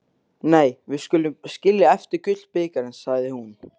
Nei, við skulum skilja eftir gullbikarinn, sagði hún.